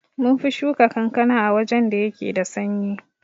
Munfi Shuka kankana a wajan da yake da sanyi